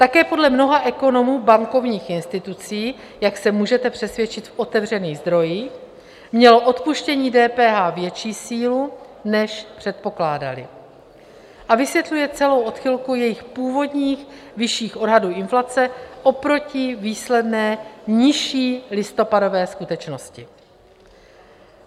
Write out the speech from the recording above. Také podle mnoha ekonomů bankovních institucí, jak se můžete přesvědčit v otevřených zdrojích, mělo odpuštění DPH větší sílu, než předpokládali, a vysvětluje celou odchylku jejich původních vyšších odhadů inflace oproti výsledné nižší listopadové skutečnosti.